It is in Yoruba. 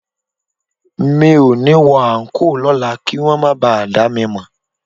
Mi ò ní wọ àńkò lọ́la kí wọn máa ba à dá mi mọ̀